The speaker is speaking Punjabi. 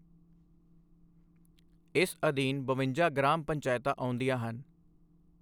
ਇਸ ਅਧੀਨ ਬਵੰਜਾ ਗ੍ਰਾਮ ਪੰਚਾਇਤਾਂ ਆਉਂਦੀਆਂ ਹਨ।